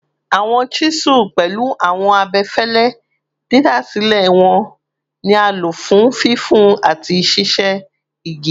Awọn chisels, pẹlu awọn abẹfẹlẹ didasilẹ wọn, ni a lo fun fifin ati ṣiṣe igi